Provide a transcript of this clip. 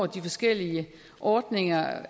de forskellige ordninger